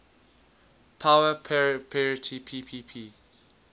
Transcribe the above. power parity ppp